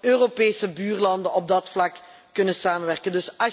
Europese buurlanden op dat vlak kunnen samenwerken?